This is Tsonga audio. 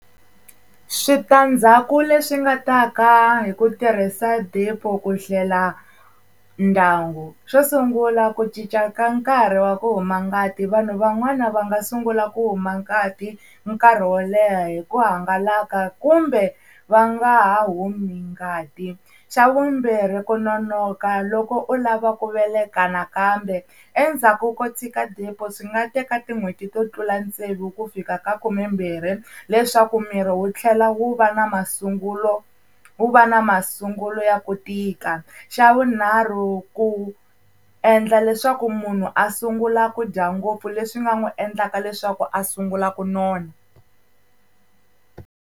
Switandzhaku leswi nga ta ka hi ku tirhisa DEPO, ku hlela ndyangu. Xo sungula ku cinca ka nkarhi wa ku huma ngati vanhu van'wana va nga sungula ku huma ngati nkarhi wo leha hi ku hangalaka kumbe va nga ha humi ngati. Xa vumbirhi ku nonoka loko u lava ku veleka nakambe endzhaku ko tshika DEPO swi nga teka tin'hweti to tlula tsevu ku fika ka khumembirhi leswaku miri wu tlhela wu va na masungulo wu va na masungulo ya ku tika. Xa vunharhu ku endla leswaku munhu a sungula ku dya ngopfu leswi nga n'wi endlaka leswaku a sungula ku nona.